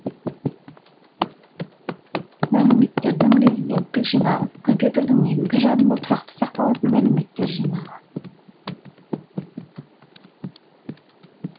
мәліметтердің резиденттік жинағы компьютердің негізгі жадында тұрақты сақталатын мәліметтер жинағы